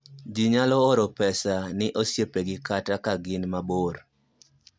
ji nyalo oro pesa ni osiepegi kata ka gin mabor